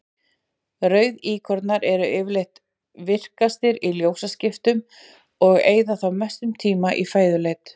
Rauðíkornar eru yfirleitt virkastir í ljósaskiptunum og eyða þá mestum tíma í fæðuleit.